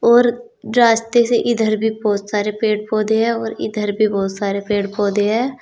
और रास्ते से इधर भी बहुत सारे पेड़ पौधे है और इधर भी बहुत सारे पेड़ पौधे हैं।